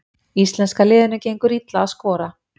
Íslenska liðinu gengur illa að skora